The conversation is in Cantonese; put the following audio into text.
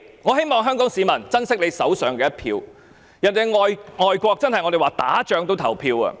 我希望香港市民珍惜手上的一票，我們常說外國就是在打仗，人民也要投票。